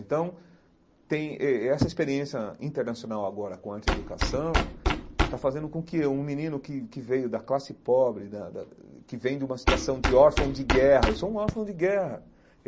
Então, tem eh essa experiência internacional agora com a antieducação está fazendo com que um menino que que veio da classe pobre da da, que vem de uma situação de órfão de guerra... Eu sou um órfão de guerra.